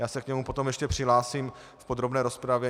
Já se k němu potom ještě přihlásím v podrobné rozpravě.